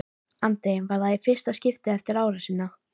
Andri: Var það í fyrsta skiptið eftir árásina?